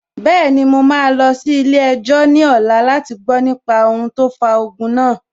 Bẹ́ẹ̀ni, mo máa lọ sí ilé-ẹjọ́ ní ọ̀la láti gbọ nípa ohun tó fa ogun náà